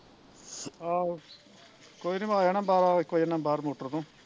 ਆਹੋ ਕੋਈ ਨਾ ਮੈਂ ਆ ਜਾਣਾ ਬਾਰਾਂ ਇੱਕ ਵਜੇ ਨਾਲ਼ ਬਾਹਰ ਮੋਟਰ ਤੋਂ